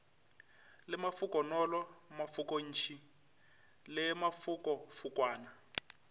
le mafokonolo mafokontši le mafokofokwana